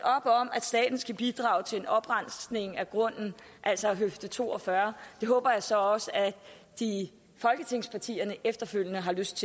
at staten skal bidrage til en oprensning af grunden altså af høfde to og fyrre det håber jeg så også at folketingspartierne efterfølgende har lyst